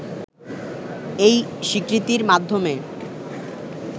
এই স্বীকৃতির মাধ্যমে